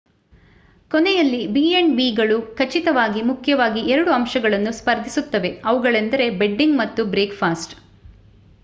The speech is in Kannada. ಕೊನೆಯಲ್ಲಿ ಬಿ ಆಂಡ್ ಬಿಗಳು ಖಚಿತವಾಗಿ ಮುಖ್ಯವಾಗಿ 2 ಅಂಶಗಳನ್ನು ಸ್ಫರ್ಧಿಸುತ್ತವೆ: ಅವುಗಳೆಂದರೆ ಬೆಡ್ಡಿಂಗ್ ಮತ್ತು ಬ್ರೇಕ್‌ಫಾಸ್ಟ್‌